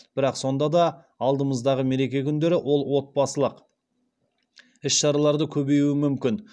бірақ сонда да алдымыздағы мереке күндері ол отбасылық іс шараларды көбеюі мүмкін